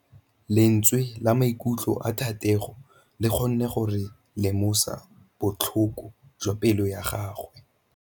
Lentswe la maikutlo a Thategô le kgonne gore re lemosa botlhoko jwa pelô ya gagwe.